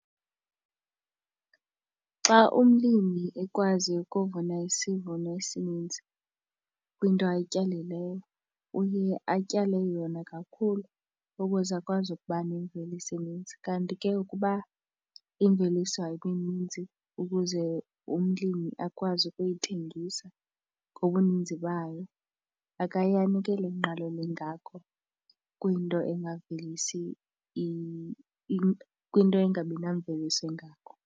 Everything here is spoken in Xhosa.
Xa umlimi ekwazi ukuvuna isivuno esininzi kwinto ayityalileyo uye atyale yona kakhulu ukuze akwazi ukuba nemveliso eninzi. Kanti ke ukuba imveliso ayikho ninzi ukuze umlimi akwazi ukuyithengisa ngobuninzi bayo, akaye anikele ingqalelo engako kwinto engavelisi kwinto eingabi namveliso engako.